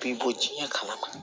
Bi bɔ diɲɛ kama